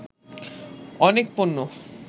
অনেক পণ্য